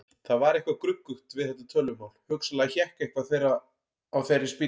Það var eitthvað gruggugt við þetta tölvumál, hugsanlega hékk eitthvað á þeirri spýtu.